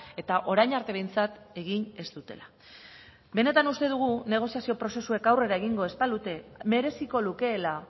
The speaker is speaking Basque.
eta orain arte behintzat egin ez dutela benetan uste dugu negoziazio prozesuek aurrera egingo ez balute mereziko lukeela